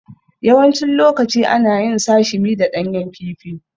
Yawancin lokaci ana yin Sashimi da ɗanyen kifi